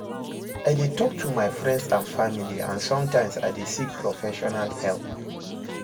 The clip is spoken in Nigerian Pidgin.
I dey talk to my friends and family, and sometimes I dey seek professional help.